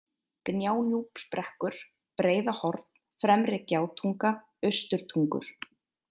Gjánúpsbrekkur, Breiðahorn, Fremri-Gjátunga, Austurtungur